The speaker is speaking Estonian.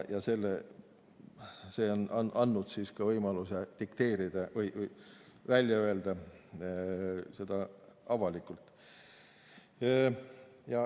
Ja see on andnud võimaluse dikteerida või välja öelda seda avalikult.